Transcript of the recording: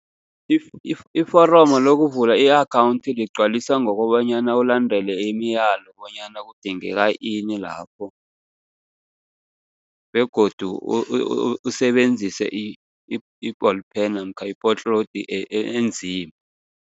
Iforomo lokuvula i-akhawunthi ligcwaliswa ngokobanyana ulandele imiyalo, bonyana kudingeka ini lapho begodu usebenzise i-ball pen namkha enzima.